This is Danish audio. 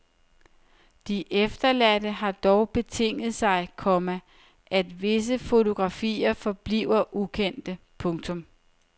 De efterladte har dog betinget sig, komma at visse fotografier forbliver ukendte. punktum